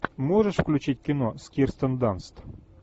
можешь включить кино с кирстен данст